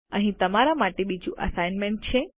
અહીં તમારા માટે બીજું અસાઇનમેન્ટ છે